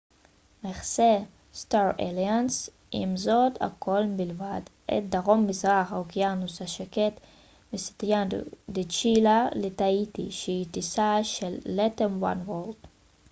עם זאת star alliance מכסה הכול מלבד את דרום מזרח האוקיינוס השקט מסנטיאגו דה צ'ילה לטהיטי שהיא טיסה של latam oneworld